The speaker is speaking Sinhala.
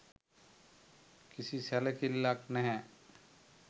කිසි සැලකිල්ලක් නැහැ.